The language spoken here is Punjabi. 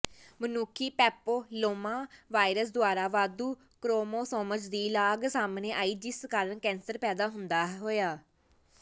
ਮਨੁੱਖੀ ਪੈਪਿਲੋਮਾ ਵਾਇਰਸ ਦੁਆਰਾ ਵਾਧੂ ਕ੍ਰੋਮੋਸੋਮਜ਼ ਦੀ ਲਾਗ ਸਾਹਮਣੇ ਆਈ ਜਿਸ ਕਾਰਨ ਕੈਂਸਰ ਪੈਦਾ ਹੋਇਆ